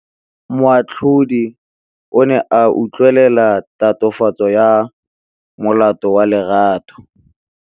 Moatlhodi o ne a utlwelela tatofatsô ya molato wa Lerato.